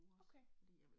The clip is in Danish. Okay